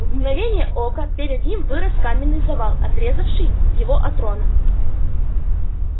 в мгновение ока перед ним вырос каменный завал отрезавший его от рона